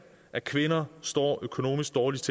at kvinder står økonomisk dårligst